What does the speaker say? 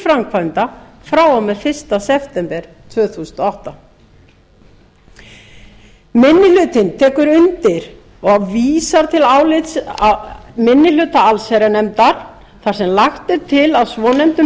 framkvæmda frá og með fyrsta september tvö þúsund og átta minni hlutinn tekur undir og vísar til álits minni hluta allsherjarnefndar þar sem lagt er til að svonefndum